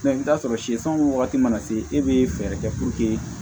i bɛ t'a sɔrɔ sɛ san wagati mana se e bɛ fɛɛrɛ kɛ